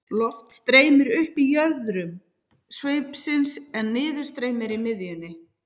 Loft streymir upp í jöðrum sveipsins en niðurstreymi er í miðjunni.